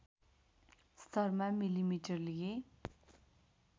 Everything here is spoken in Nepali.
स्तरमा मिलिमिटर लिए